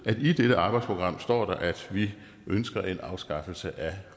i dette arbejdsprogram står at vi ønsker en afskaffelse af